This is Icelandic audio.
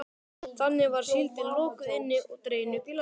Þannig var síldin lokuð inni og dregin upp í land.